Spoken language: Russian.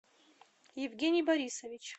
евгений борисович